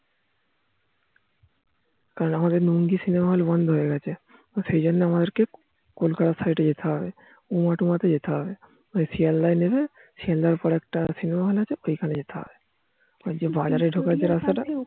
কাল আমাদের লুঙ্গি সিনেমা হল বন্ধ হয় গিয়েছে সেই জন্য আমাদের কে কলকাতার side যেতে হবে উমা - তুমা তে যেতে হবে শিয়ালদায় নেমে শিয়ালদার পর একটা সিনেমা হল আছে খান এ যেতে হবে বাজারে ঢোকার যে রাস্তা টা